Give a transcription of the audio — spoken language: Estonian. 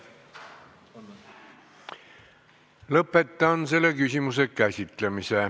Lõpetan selle küsimuse käsitlemise.